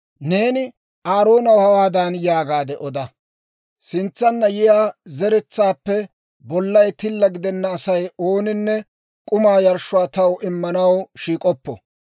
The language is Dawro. «Neeni Aaroonaw hawaadan yaagaade oda; ‹Sintsanna yiyaa ne zeretsaappe bollay tilla gidenna Asay ooninne k'umaa yarshshuwaa taw immanaw shiik'oppo.